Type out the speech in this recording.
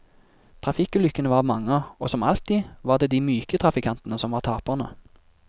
Trafikkulykkene var mange, og som alltid var det de myke trafikantene som var taperne.